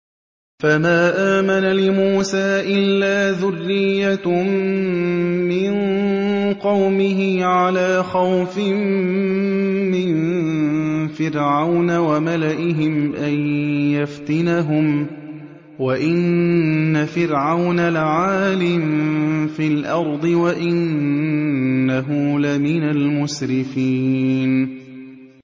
فَمَا آمَنَ لِمُوسَىٰ إِلَّا ذُرِّيَّةٌ مِّن قَوْمِهِ عَلَىٰ خَوْفٍ مِّن فِرْعَوْنَ وَمَلَئِهِمْ أَن يَفْتِنَهُمْ ۚ وَإِنَّ فِرْعَوْنَ لَعَالٍ فِي الْأَرْضِ وَإِنَّهُ لَمِنَ الْمُسْرِفِينَ